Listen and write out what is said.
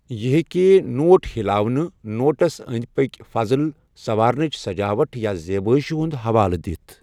یہِ ہیٚکہِ نوٹ ہلاونہٕ، نوٹَس انٛدۍ پٔکھۍ فضل، سوارنٕچ سجاوٹ یا زیبٲئشہِ ہُنٛد حوالہ دِتھ۔